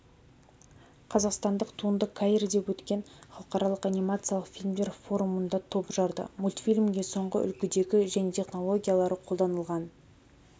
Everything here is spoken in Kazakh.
қазақстандық туынды каирде өткен халықаралық анимациялық фильмдер форумында топ жарды мультфильмге соңғы үлгідегі және технологиялары қолданылған